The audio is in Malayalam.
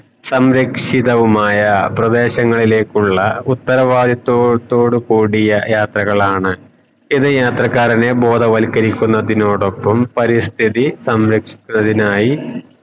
സംരക്ഷിതവുമായ പ്രദേശങ്ങലേക്കുള്ള ഉത്തരവിത്ത്വത്തോടുകൂടിയ യാത്രകളാണ് ഇത് യാത്രക്കാരെ ബോധവത്കരി കുന്നതോടൊപ്പം പരിസ്ഥിതി സംരക്ഷിക്കുന്നതിനായി